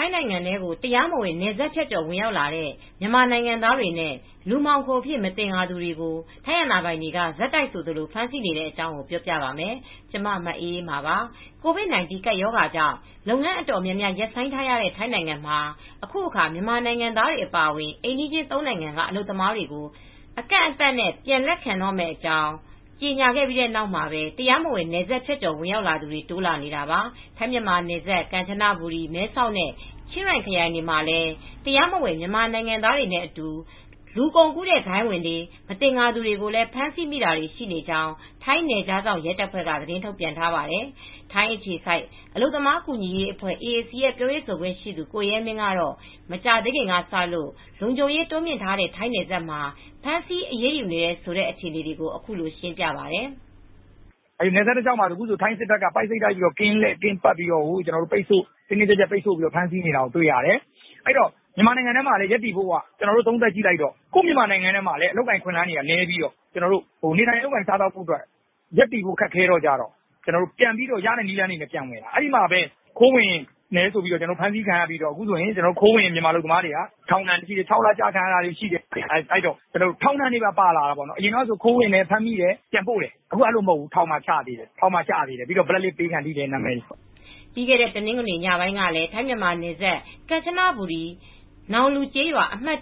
ထိုင်းနိုင်ငံကို တရားမဝင် နယ်စပ်ဖြတ်ကျော် ဝင်ရောက်လာတဲ့ မြန်မာနိုင်ငံသားတွေနဲ့ လူမှောင်ခိုအဖြစ် မသင်္ကာသူတွေကို ထိုင်းအာဏာပိုင်တွေ ဆက်တိုက်ဆိုသလို ဖမ်းဆီးနေတဲ့အကြောင်း ပြောပြပါမယ်။ ဗွီအိုအေမြန်မာပိုင်းသတင်းထောက် မအေးအေးမာက ထိုင်းမြန်မာနယ်စပ်ကနေ သတင်းပေးပို့ထားပါတယ်။ COVID-19 ကပ်ရောဂါကြောင့် လုပ်ငန်းတော်တော်များများ ရပ်ဆိုင်းထားခဲ့ရတဲ့ ထိုင်းနိုင်ငံမှာ အခုအခါ မြန်မာနိုင်ငံသားတွေ အပါအဝင် အိမ်နီးချင်း သုံး နိုင်ငံက အလုပ်သမားတွေကို အကန့်အသတ်နဲ့ ပြန်လက်ခံတော့မယ့်အကြောင်း ကြေညာခဲ့ပြီးနောက်မှာပဲ တရားမဝင် နယ်စပ်ဖြတ်ကျော် ဝင်ရောက်သူတွေလည်း တိုးလာနေတာပါ။ ထိုင်းမြန်မာနယ်စပ် ကန်ချပူရီ၊ မဲဆောက်နဲ့ချင်းရိုင်ခရိုင်တွေမှာလည်း တရားမဝင် မြန်မာနိုင်ငံသားတွေနဲ့အတူ လူကုန်ကူးဂိုဏ်းဝင်တွေလို့ မသင်္ကာသူတွေကိုလည်း ဖမ်းဆီးမိခဲ့တာတွေ ရှိနေကြောင်း ထိုင်းနယ်ခြားစောင် ရဲတပ်ဖွဲ့က သတင်းထုတ်ပြန်ထားပါတယ်။ ထိုင်းအခြေစိုက် အလုပ်သမားကူညီရေးအဖွဲ့AAC ရဲ့ ပြောရေးဆိုခွင့်ရှိသူ ကိုရဲမင်းကတော့ မကြာသေးခင်ကစလို့ လုံခြုံရေး တိုးမြှင့်ထားတဲ့ ထိုင်းနယ်စပ်မှာ ဖမ်းဆီးအရေးယူနေတဲ့ အခြေအနေကို အခုလို ရှင်းပြပါတယ်။ "နယ်စပ်တလျှောက်မှာလည်း ထိုင်းစစ်တပ်က ကင်းလှည့်ပြီး ပိတ်ဆို့ပြီး တင်းတင်းကြပ်ကြပ် ဖမ်းဆီးနေတာတွေ ရှိတယ်။ မြန်မာနိုင်ငံထဲမှာ ရပ်တည်ဖို့က ကိုယ့်နိုင်ငံမှာလည်း နေထိုင်ရပ်တည်ဖို့ ခက်ခဲတော ရတဲ့ နည်းနဲ့ ထိုင်းထဲကိုပြန်ပြီး ခိုးဝင်လာကြတယ်။ အခုတော့ ခိုးဝင်မြန်မာတွေကတော့ ထောင် ၆ လ ကျတာရှိတယ်။ အရင်ကဆို ခိုးဝင်တယ် ပြန်ပို့တယ်။ အခုတော့ ထောင်ပါကျတယ်၊ Black list တွေဖြစ်ကုန်တယ်။" ပြီးခဲ့တဲ့ တနင်္ဂနွေနေ့ညပိုင်းကလည်း ထိုင်းမြန်မာနယ်စပ် ကမ်ချဘူရီခရိုင် Kanchanaburi နောက်လူ Nong Luကျေးရွာ အမှတ်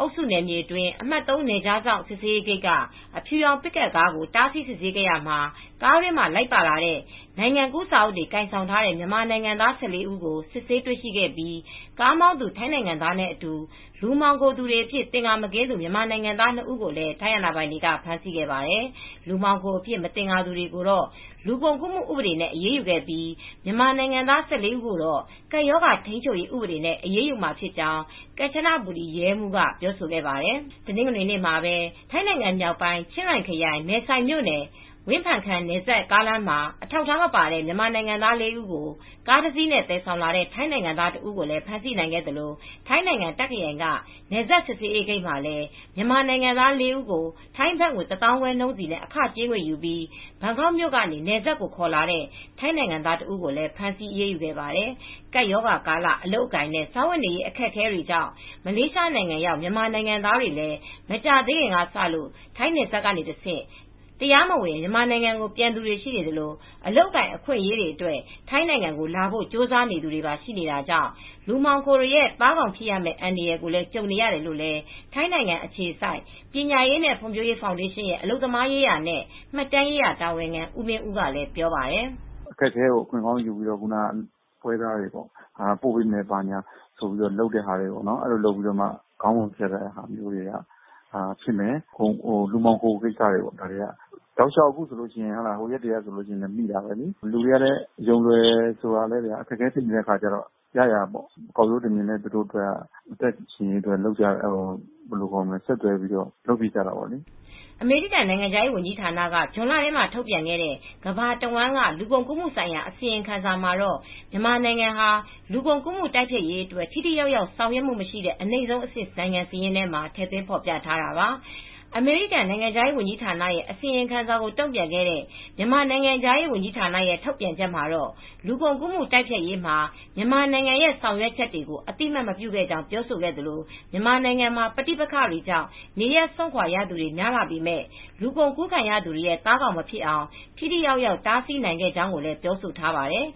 အုပ်စုနယ်မြေအတွင်း အမှတ် နယ်ခြား စစ်ဆေးဂိတ်က အဖြူရောင် ပစ်ကပ်ကားကို တားဆီးစစ်ဆေးခဲ့ရာမှာ ကားတွင်းမှာ လိုက်ပါလာတဲ့ နိုင်ငံကူးစာအုပ်တွေကိုင်ဆောင်ထားကြတဲ့ မြန်မာနိုင်ငံသား ၁၄ ဦးကို စစ်ဆေးတွေရှိခဲ့ပြီး ကားမောင်းသူ ထိုင်းနိုင်ငံသားနဲ့အတူ လူမှောင်ခိုသူတွေအဖြစ် မသင်္ကာသူ မြန်မာနိုင်ငံသား နှစ် ဦးကို ထိုင်းအာဏာပိုင်တွေ ဖမ်းဆီးခဲ့ပါတယ်။ လူမှောင်ခိုအဖြစ် မသင်္ကာသူတွေကိုတော့ လူကုန်ကူးမှု ဥပဒေနဲ့ အရေးယူခဲ့ပြီး မြန်မာနိုင်ငံသား ၁၄ ဦးကိုတော့ ကပ်ရောဂါ ထိမ်းချုပ်ရေးဥပဒေနဲ့ အရေးယူမှာ ဖြစ်ကြောင်း ကန်ချဘူရီ ရဲမှူး Col. Samran Klangmarn က ပြောဆိုခဲ့ပါတယ်။ တနင်္ဂနွေနေ့မှာပဲ ထိုင်းနိုင်ငံမြောက်ပိုင်း ချင်းရိုင်ခရိုင် မဲဆိုင်မြို့နယ် ဝင်ဖန်ခန်နယ်စပ် ကားလမ်းမှာ အထောက်အထားမပါတဲ့ မြန်မာနိုင်ငံသား ၄ ဦးကို ကားတစ်စီးနဲ့သယ်ဆောင်လာတဲ့ ထိုင်းနိုင်ငံသား တစ်ဦးကို ဖမ်းဆီးနိုင်ခဲ့သလို ထိုင်းနိုင်ငံ တပ်ခရိုင်က နယ်စပ်စစ်ဆေးရေးဂိတ်မှာလည်း မြန်မာနိုင်ငံသား လေး ဦးကို ထိုင်းဘတ်ငွေ ၁၅,၀၀၀ နှုန်းစီ အခကြေးငွေယူပြီး ဘန်ကောက်မြို့ကနေ နယ်စပ်ကို ခေါ်လာတဲ့ ထိုင်းနိုင်ငံသား တစ်ဦးကိုလည်း ဖမ်းဆီးအရေးယူခဲ့ပါတယ်။ ကပ်ရောဂါကာလ အလုပ်အကိုင်နဲ့ စားဝတ်နေရေး အခက်အခဲကြောင့် မလေးရှားနိုင်ငံရောက် မြန်မာနိုင်ငံသားတွေလည်း မကြာသေးခင်ကစလို့ ထိုင်းနယ်စပ်ကတဆင့် တရားမဝင် မြန်မာနိုင်ငံ ပြန်သူတွေ ရှိနေသလို၊ အလုပ်အကိုင် အခွင့်အရေးအတွက် ထိုင်းနိုင်ငံကို လာဖို့ကြိုးစားသူတွေပါ ရှိနေတာကြောင့် လူမှောင်ခိုတွေရဲ့ သားကောင်ဖြစ်ရမယ့် အန္တရာယ် ကြုံနေရတယ်လို့လည်း ထိုင်းနိုင်ငံ အခြေစိုက်ပညာရေးနဲ့ ဖွံ့ဖြိုးရေးဖောင်ဒေးရှင်းရဲ့ အလုပ်သမားရေးရာနဲ့ မှတ်တမ်းရေးရာတာဝန်ခံ ဦးမင်းဦးကပြောပါတယ်။ "အခက်အခဲကို အခွင့်ကောင်းယူပြီး ပွဲစားတွေပေါ့။ ပို့ပေးမယ် ဘာညာလုပ်ပြီး ခေါင်းပုံ ဖြတ်တာတွေဖြစ်မယ်... လူမှောင်ခိုကိစ္စတွေပေါ့။ ပြီးခဲ့တဲ့ရက်တွေကလည်း ဖမ်းမိတာရှိတယ်။ လူတွေကလည်းကောက်ရိုးတမျှင်ပေါ့။ ရပ်တည်ရေးအတွက်ဆိုတော့ ဆက်သွယ်ပြီးလုပ်ကြတာရှိတယ်။" အမေရိကန်နိုင်ငံခြားရေး ဝန်ကြီးဌာနက ဇွန်လထဲမှာ ထုတ်ပြန်ခဲ့တဲ့ ကမ္ဘာတဝန်းက လူကုန်ကူးမှုဆိုင်ရာ အစီရင်ခံစာမှာတော့ မြန်မာနိုင်ငံဟာ လူကုန်ကူးမှု တိုက်ဖျက်ရေးအတွက် ထိထိရောက်ရောက် ဆောင်ရွက်မှုမရှိတဲ့ အနိမ့်ဆုံးအဆင့် နိုင်ငံစာရင်းမှာ ထည့်သွင်းဖော်ပြခဲ့တာပါ။ အမေရိကန်နိုင်ငံခြားရေး ဝန်ကြီးဌာနရဲ့ အစီရင်ခံစာကို တုံ့ပြန်ခဲ့တဲ့ မြန်မာနိုင်ငံခြားရေးဝန်ကြီးဌာနရဲ့ ထုတ်ပြန်ချက်မှာတော့ လူကုန်ကူးမှု တိုက်ဖျက်ရေးမှာ မြန်မာနိုင်ငံရဲ့ ဆောင်ရွက်ချက်တွေကို အသိအမှတ်မပြုခဲ့ကြောင်း ပြောဆိုခဲ့သလို မြန်မာနိုင်ငံမှာ ပဋိပက္ခတွေကြောင့် နေရပ်စွန့်ခွာရသူတွေ များလာပေမဲ့ လူကုန်ကူးခံရသူတွေရဲ့ သားကောင်မဖြစ်အောင် ထိထိရောက်ရောက် တားဆီးနိုင်ခဲ့ကြောင်းလည်း ပြောဆိုထားပါတယ်